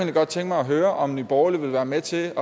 godt tænke mig at høre om nye borgerlige vil være med til